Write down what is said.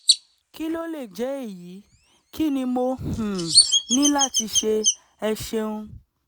kí ló lè jẹ́ èyí? kí ni mo um ní láti ṣe? ẹ ṣeun!